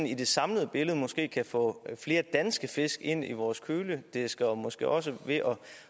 i det samlede billede måske kan få flere danske fisk ind i vores kølediske og måske også ved